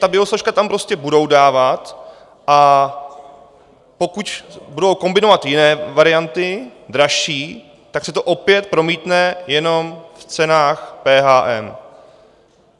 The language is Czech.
Ty biosložky tam prostě budou dávat, a pokud budou kombinovat jiné varianty, dražší, tak se to opět promítne jenom v cenách PHM.